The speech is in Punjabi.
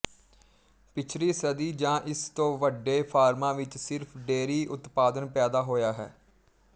ਪਿਛਲੀ ਸਦੀ ਜਾਂ ਇਸ ਤੋਂ ਵੱਡੇ ਫਾਰਮਾਂ ਵਿੱਚ ਸਿਰਫ ਡੇਅਰੀ ਉਤਪਾਦਨ ਪੈਦਾ ਹੋਇਆ ਹੈ